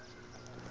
dingane